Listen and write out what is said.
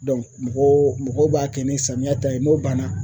mɔgɔ mɔgɔw b'a kɛ ni samiya ta ye n'o banna